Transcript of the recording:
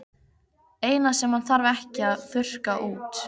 Eina sem hann þarf ekki að þurrka út.